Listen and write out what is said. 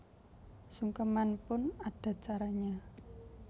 Sungkeman pun ada caranya